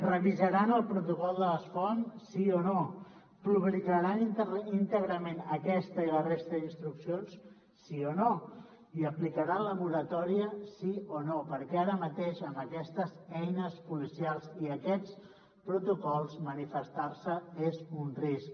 revisaran el protocol de les foam sí o no publicaran íntegrament aquesta i la resta d’instruccions sí o no i aplicaran la moratòria sí o no perquè ara mateix amb aquestes eines policials i aquests protocols manifestar se és un risc